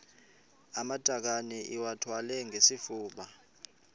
amatakane iwathwale ngesifuba